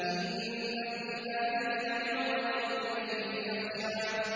إِنَّ فِي ذَٰلِكَ لَعِبْرَةً لِّمَن يَخْشَىٰ